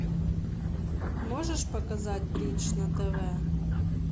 можешь показать бридж на тв